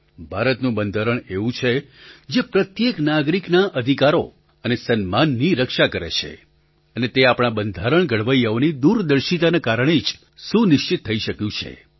ભારતનું બંધારણ એવું છે જે પ્રત્યેક નાગરિકનાઅધિકારો અને સન્માનની રક્ષા કરે છે અને તે આપણા બંધારણ ઘડવૈયાઓની દૂરદર્શિતાના કારણે જ સુનિશ્ચિત થઈ શક્યું છે